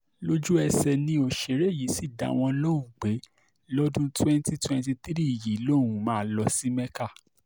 lójú-ẹsẹ̀ ni òṣèré yìí sì dá wọn lóhùn pé lọ́dún twenty twenty three yìí lòun máa lọ sí mecca